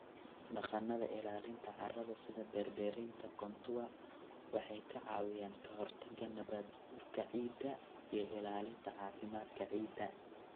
Dhaqannada ilaalinta carrada sida beer-beeraynta contour waxay ka caawiyaan kahortagga nabaad-guurka ciidda iyo ilaalinta caafimaadka ciidda.